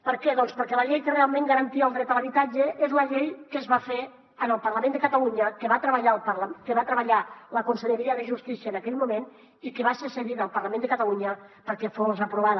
per què perquè la llei que realment garantia el dret a l’habitatge és la llei que es va fer en el parlament de catalunya que va treballar la conselleria de justícia en aquell moment i que va ser cedida al parlament de catalunya perquè fos aprovada